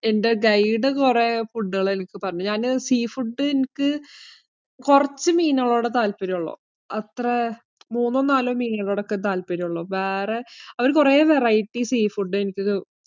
എന്‍റെ guide കുറെ food കള്‍ എനിക്ക് പറഞ്ഞു തന്നു. ഞാന് sea food എനിക്ക് കൊറച്ചു മീനുകളോടെ താല്പര്യം ഉള്ളൂ. അത്ര മൂന്നോ, നാലോ മീനുകളോടൊക്കെ താല്പര്യം ഉള്ളൂ. വേറെ അവര് കൊറേ variety see food എനിക്ക്